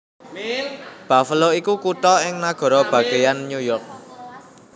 Buffalo iku kutha ing nagara bagéyan New York